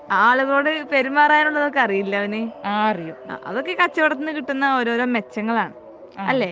ആളുകളോട് പെരുമാറാൻ ഒകെ ഉള്ളത് അറിയില്ലേ അവന് അതൊക്കെ കച്ചവടത്തിൽ നിന്ന് കിട്ടുന്ന ഓരോരോ മെച്ചങ്ങൾ ആണ് അല്ലെ